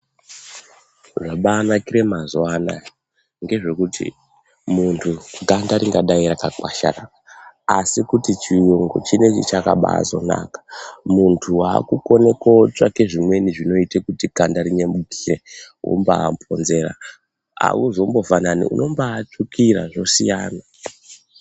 Zvabanakire mazuwa anaya ngezvekuti muntu ganda ringadai rakakwasharara asi kuti chiyungu chinechi chakabazonaka, muntu wakukone kotsvake zvimweni zvinoite kuti ganda rinyemukire wombamhonzera auzombofanani unombatsvukira zvosiyana.